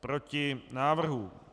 Proti návrhu.